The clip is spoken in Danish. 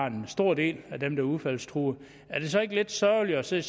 en stor del af dem der er udfaldstruede er det så ikke lidt sørgeligt at se